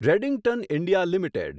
Redington India limited